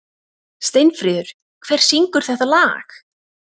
Steinfríður, hver syngur þetta lag?